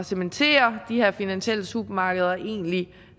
cementere de her finansielle supermarkeder og egentlig